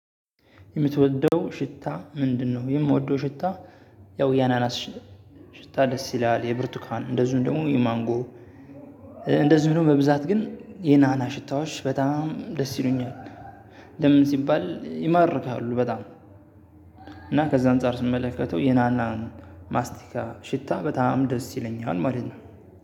የምትወደው ሽታ ምንድነው? የምወደው ሽታ። ያው ያናናስ ሽ ሽታ ደስ ይላል የብርቱካን እንደዚሁም ደግሞ የማንጎ። እንደዚሁም ደግሞ በብዛት ግን የናና ሽታዎች በጣም ደስ ይሉኛል። ለምን ሲባል ይማርካሉ በጣም። እና ከዛ አንፃር ስመለከተው የናናን ማስቲካ ሽታ በጣም ደስ ይለኛል ማለት ነው።